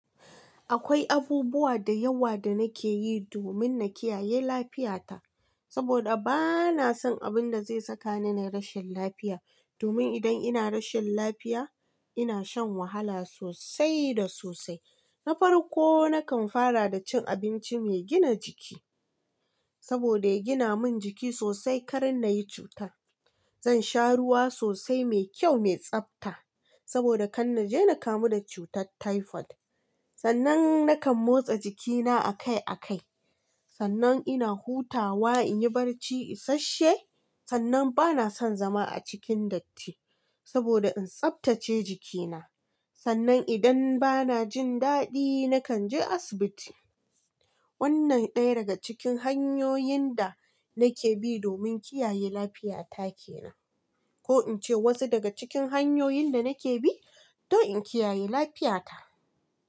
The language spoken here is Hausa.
Akwai abubuwa da yawa da nake yi domin na kiyaye lafiyata saboda bana son abin da zai saka ni na rashin lafiya. Domin idan ina rashin lafiya, ina shan wahala sosai da sosai. Na farko, nakan fara da cin abinci mai gina jiki saboda ya gina min jiki sosai kar na yi cuta. Zan sha ruwa sosai mai kyau, mai tsabta saboda kan na je na kamu da cutar typhoid. Sannan nakan motsa jikina a kai a kai. Sannan ina hutawa in yi barci isashe. Sannan bana son zama a cikin datti saboda in tsabtace jikina. Sannan idan bana jin daɗi, nakan je asibiti. Wannan ɗaya daga cikin hanyoyin da nake bi domin kiyaye lafiyata ke nan. Ko in ce wasu daga cikin hanyoyin da nake bi don in kiyaye lafiyata.